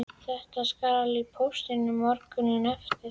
Þetta skal í póst morguninn eftir.